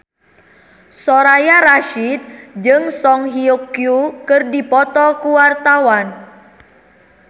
Soraya Rasyid jeung Song Hye Kyo keur dipoto ku wartawan